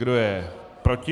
Kdo je proti?